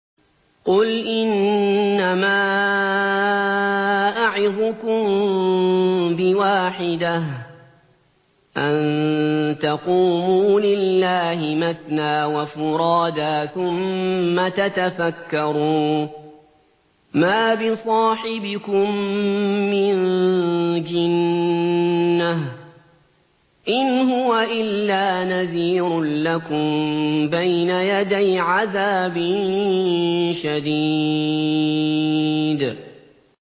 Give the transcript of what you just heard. ۞ قُلْ إِنَّمَا أَعِظُكُم بِوَاحِدَةٍ ۖ أَن تَقُومُوا لِلَّهِ مَثْنَىٰ وَفُرَادَىٰ ثُمَّ تَتَفَكَّرُوا ۚ مَا بِصَاحِبِكُم مِّن جِنَّةٍ ۚ إِنْ هُوَ إِلَّا نَذِيرٌ لَّكُم بَيْنَ يَدَيْ عَذَابٍ شَدِيدٍ